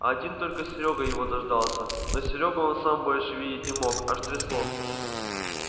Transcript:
один только серёга его дождался но серёгу он сам больше видеть не мог аж трясло